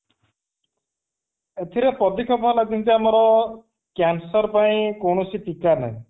ଏଥିରେ ପଦକ୍ଷେପ ହେଲା ଯେମିତି ଆମର cancer ପାଇଁ କୌଣସି ଟୀକା ନାହିଁ